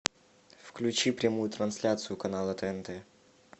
включи прямую трансляцию канала тнт